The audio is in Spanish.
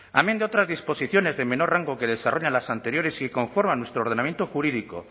amén de otras disposiciones de menor rango que desarrollan las anteriores y que conforman nuestro ordenamiento jurídico